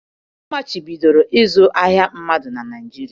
Amachibidoro ịzụ ahịa mmadụ na Naịjirịa.